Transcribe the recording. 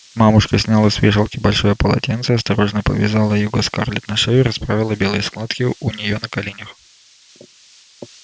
мамушка сняла с вешалки большое полотенце осторожно повязала его скарлетт на шею и расправила белые складки у нее на коленях